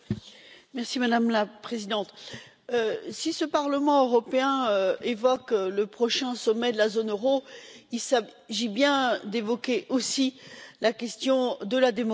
Madame la Présidente, si ce Parlement européen évoque le prochain sommet de la zone euro, il s'agit bien d'évoquer aussi la question de la démocratie.